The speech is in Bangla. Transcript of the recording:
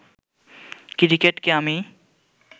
ক্রিকেটকে আমি